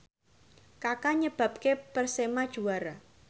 Kaka nyebabke Persema juara